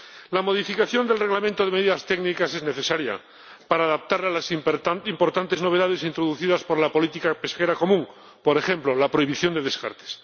La modificación del Reglamento de medidas técnicas es necesaria para adaptarlo a las importantes novedades introducidas por la política pesquera común, como, por ejemplo, la prohibición de descartes.